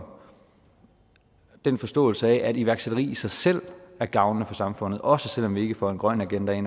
den forståelse af at iværksætteri i sig selv er gavnligt for samfundet også selv om vi ikke får en grøn agenda